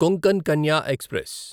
Konkan Kanya express